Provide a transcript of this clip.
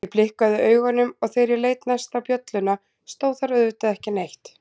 Ég blikkaði augunum og þegar ég leit næst á bjölluna stóð þar auðvitað ekki neitt.